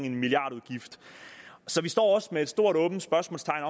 en milliardudgift så vi står også med et stort åbent spørgsmålstegn